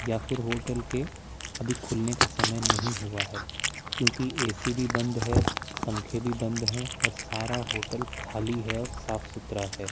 या फिर होटल के अभी खुलने का समय नहीं हुआ है क्योंकि ए_सी भी बंद है पंखे भी बंद हैं और सारा होटल खाली है और साफ सुथरा है।